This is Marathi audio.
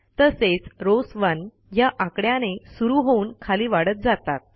तसेच रॉव्स 1 ह्या आकड्याने सुरू होऊन खाली वाढत जातात